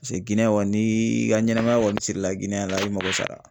Paseke Gniyɛn kɔni n'i ka ɲɛnɛmaya kɔni sirila Giniyɛ la, i mago sara.